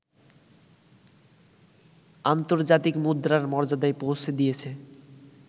আন্তর্জাতিক মুদ্রার মর্যাদায় পৌঁছে দিয়েছে